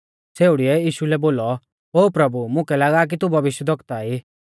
छ़ेउड़ीऐ यीशु लै बोलौ ओ प्रभु मुकै लागा की तू भविष्यवक्ता ई